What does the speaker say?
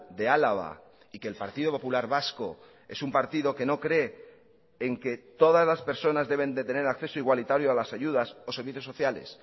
de álava y que el partido popular vasco es un partido que no cree en que todas las personas deben de tener acceso igualitario a las ayudas o servicios sociales